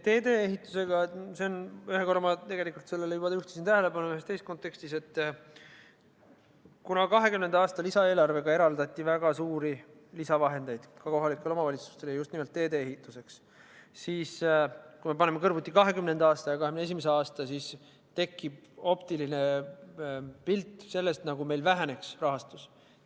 Teedeehitusega on nii – ühe korra ma sellele juba juhtisin tähelepanu ühes teises kontekstis –, et kuna 2020. aasta lisaeelarvega eraldati väga suuri lisavahendeid ka kohalikele omavalitsustele, ja just nimelt teedeehituseks, siis kui me paneme kõrvuti 2020. aastaga 2021. aasta, tekib optiline pilt sellest, nagu meil rahastus väheneks.